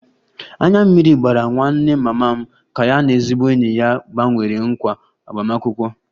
Anya mmiri gbara nwanne mama m ka ya na ezigbo enyi ya gbanwere nkwa agbamakwụkwọ